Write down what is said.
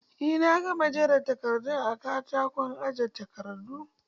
Eh na gama jera takardun a katakon aje takardu.